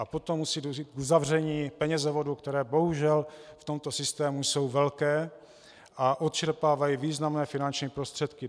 A potom musí dojít k uzavření penězovodů, které bohužel v tomto systému jsou velké a odčerpávají významné finanční prostředky.